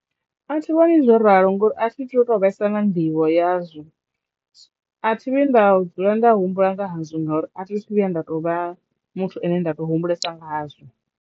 A thi vhoni zwo ralo ngori a thi tu vhesa na nḓivho yazwo a thi vhi nda dzula nda humbula nga hazwo ngauri a thi thu vhuya nda to vha muthu ane nda to humbulesa nga hazwo.